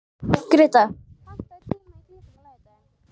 Greta, pantaðu tíma í klippingu á laugardaginn.